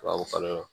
Tubabu kan na